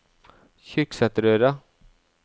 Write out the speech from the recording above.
Kyrksæterøra